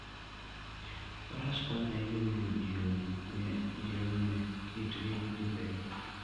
Faras konyo ahinya e miyo ji ong'e kitgi gi timbegi.